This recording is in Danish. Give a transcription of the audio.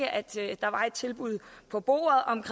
et tilbud på bordet om